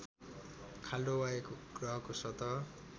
खाल्टो वा एक ग्रहको सतह